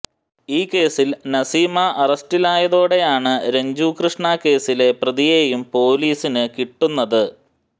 ഈ കേസിൽ നസീമ അറസ്റ്റിലയാതോടെയാണ് രഞ്ജു കൃഷ്ണ കേസിലെ പ്രതിയേയും പൊലീസിന് കിട്ടുന്നത്